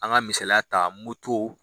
An ka misaliya ta moto